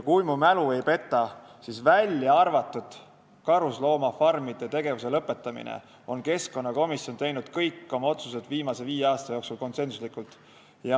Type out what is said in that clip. Kui mu mälu ei peta, siis kui välja arvata karusloomafarmide tegevuse lõpetamise teema, on keskkonnakomisjon teinud kõik oma otsused viimase viie aasta jooksul konsensuslikult.